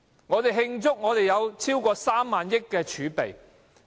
我們慶祝有近萬億元的儲備？